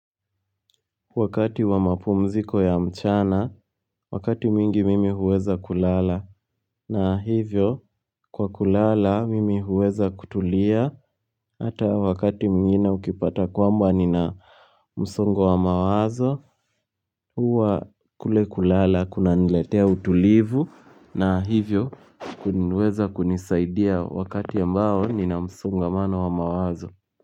Wakati wa mapumziko ya mchana, wakati mingi mimi huweza kulala, na hivyo kwa kulala mimi huweza kutulia, hata wakati mwingine ukipata kwamba nina msongo wa mawazo, huwa kule kulala kuna niletea utulivu, na hivyo kuniweza kunisaidia wakati ambao nina msongamano wa mawazo.